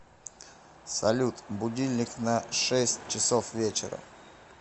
салют будильник на шесть часов вечера